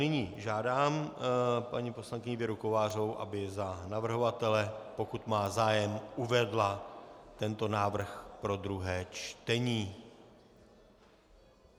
Nyní žádám paní poslankyni Věru Kovářovou, aby za navrhovatele, pokud má zájem, uvedla tento návrh pro druhé čtení.